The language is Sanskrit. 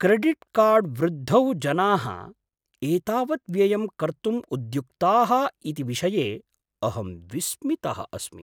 क्रेडिट्कार्ड्वृद्धौ जनाः एतावत् व्ययं कर्तुम् उद्युक्ताः इति विषये अहं विस्मितः अस्मि।